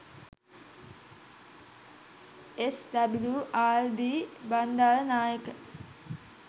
SWRD .Bandaranaike